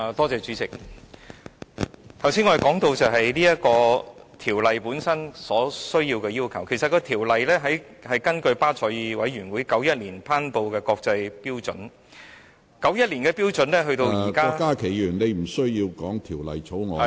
主席，我剛才談到《條例草案》本身的要求，其實《條例草案》是根據巴塞爾委員會在1991年頒布的國際標準，而1991年的標準至現在......